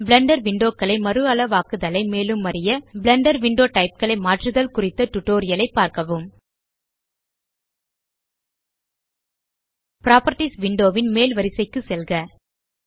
Blender window களை மறுஅளவாக்குதலை மேலும் அறிய பிளெண்டர் விண்டோ டைப் களை மாற்றுதல் குறித்த டியூட்டோரியல் ஐ பார்க்கவும் புராப்பர்ட்டீஸ் விண்டோ ன் மேல் வரிசைக்கு செல்க